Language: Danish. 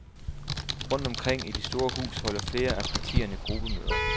Rundt omkring i det store hus holder flere af partierne gruppemøder.